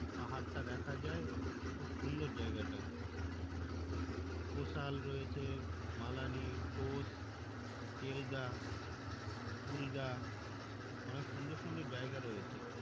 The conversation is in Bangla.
পাহাড়টা দেখা যায়। খুব সুন্দর জায়গাটা কসল রয়েছে মালানি টোস কেলগা কুলগা অনেক সুন্দর সুন্দর জায়গা রয়েছে